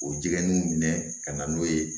O jiginiw minɛ ka na n'o ye